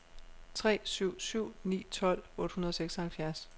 tre syv syv ni tolv otte hundrede og seksoghalvfjerds